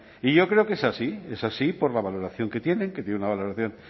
y yo creo que es así es así por la valoración que tiene que tiene una valoración